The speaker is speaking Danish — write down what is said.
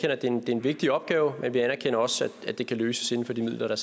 at det er en vigtig opgave men vi anerkender også at det kan løses inden for de midler